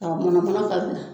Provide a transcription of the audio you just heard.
ka bila